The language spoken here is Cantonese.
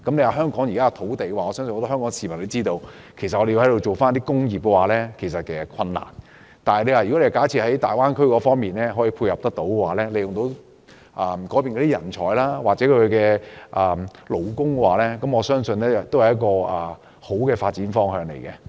我相信很多香港市民都知道基於土地問題，香港要發展工業是困難的，如果大灣區可以配合，利用那裏的人才和勞工，我相信會是一個好的發展方向。